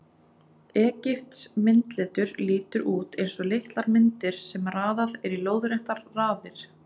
Egypskt myndletur lítur út eins og litlar myndir sem raðað er í lóðréttar raðir.